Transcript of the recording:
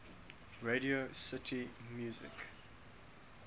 radio city music